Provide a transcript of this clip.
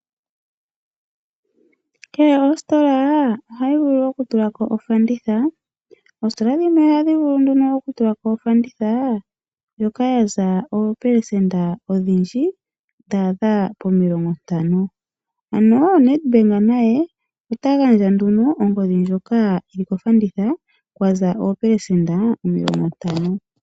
Kehe ositola ohayi vulu okutula ko ofanditha. Oositola dhimwe ohadhi vulu okutulako ofanditha ndjoka ya za oopelesenda odhindji dhaadha pomilongo ntano. Ano NedBank naye ota gandja ongodhi ndjoka yi li kofanditha kwa za oopelesenda omilongo ntano.